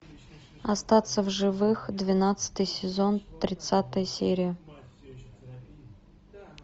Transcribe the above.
остаться в живых двенадцатый сезон тридцатая серия